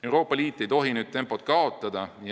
Euroopa Liit ei tohi nüüd tempot kaotada.